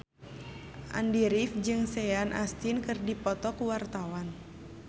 Andy rif jeung Sean Astin keur dipoto ku wartawan